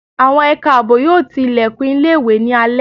Àwọn ẹ̀ka àbò yóò tí ìlẹ̀kùn ilé ìwé ní alẹ́